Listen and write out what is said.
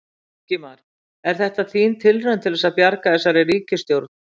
Ingimar: Er þetta þín tilraun til þess að bjarga þessari ríkisstjórn?